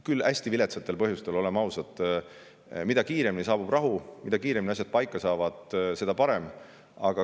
Küll hästi viletsatel põhjustel, oleme ausad: mida kiiremini saabub rahu, mida kiiremini asjad paika saavad, seda parem.